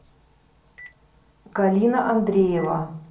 галина андреева